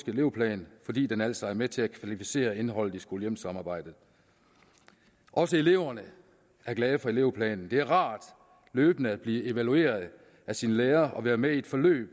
elevplan fordi den altså er med til at kvalificere indholdet i skole hjem samarbejdet også eleverne er glade for elevplanen det er rart løbende at blive evalueret af sine lærere og være med i et forløb